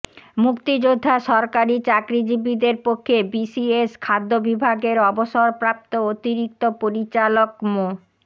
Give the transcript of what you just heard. মুক্তিযোদ্ধা সরকারি চাকরিজীবীদের পক্ষে বিসিএস খাদ্য বিভাগের অবসরপ্রাপ্ত অতিরিক্ত পরিচালক মো